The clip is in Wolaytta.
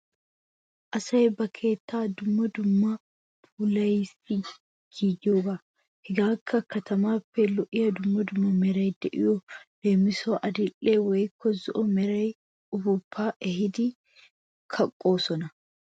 Asay ba keettaa dumma dummaban puulayees giyogaa. Hegeekka katamaappe lo'iya dumma dumma meray de'iyo leemisuwawu adil"e woykko zo'o mera ufuuppaa ehidi kaqqoosona.